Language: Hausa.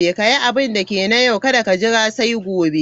Ka yi abinda ke na yau, kada ka jira sai gobe.